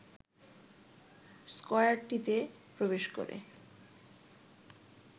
স্কয়ারটিতে প্রবেশ করে